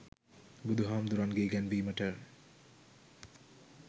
බුදුහාමුදුරුවන්ගෙ ඉගැන්වීමට